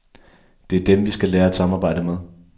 Det er dem, vi skal lære at samarbejde med.